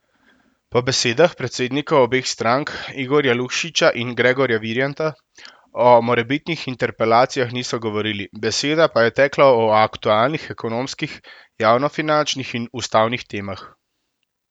Po besedah predsednikov obeh strank, Igorja Lukšiča in Gregorja Viranta, o morebitnih interpelacijah niso govorili, beseda pa je tekla o aktualnih ekonomskih, javnofinančnih in ustavnih temah.